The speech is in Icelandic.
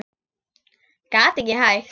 Gat ekki hætt.